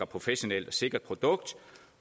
professionelt og sikkert produkt